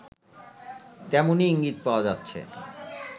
তেমনই ইঙ্গিত পাওয়া যাচ্ছে